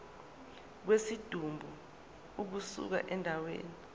kwesidumbu ukusuka endaweni